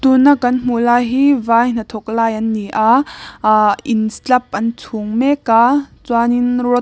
tuna kan hmuh lai hi vai hnathawk lai an ni a ahh in slap an chhung mek a chuanin rod --